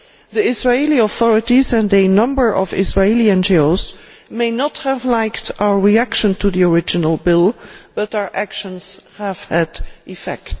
The Israeli authorities and a number of Israeli NGOs may not have liked our reaction to the original bill, but, as we have seen, our actions have had effect.